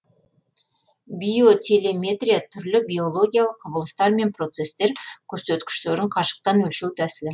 биотелеметрия түрлі биологиялық құбылыстар мен процестер көрсеткіштерін қашықтан өлшеу тәсілі